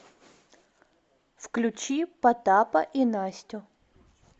включи потапа и настю